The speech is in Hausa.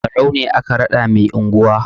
Barau ne aka raɗa mai anguwa.